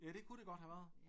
Ja det kunne det godt have været